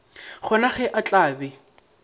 gona ge a tla be